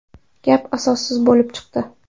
Gap asossiz bo‘lib chiqdi.